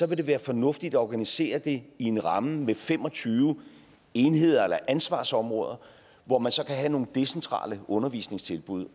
vil det være fornuftigt at organisere det i en ramme med fem og tyve enheder eller ansvarsområder hvor man så kan have nogle decentrale undervisningstilbud